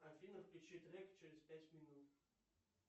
афина включи трек через пять минут